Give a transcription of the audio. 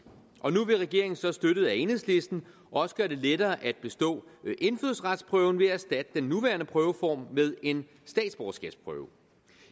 og nu vil regeringen så støttet af enhedslisten også gøre det lettere at bestå indfødsretsprøven ved at erstatte den nuværende prøveform med en statsborgerskabsprøve